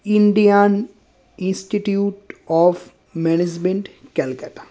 Indian Institute of Management Calcutta.